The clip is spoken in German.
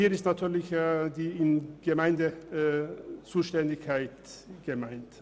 Hier ist natürlich die Zuständigkeit der Gemeinden gemeint.